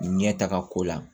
Ɲɛtaga ko la